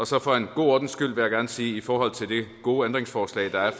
så for god ordens skyld vil jeg gerne sige i forhold til det gode ændringsforslag der er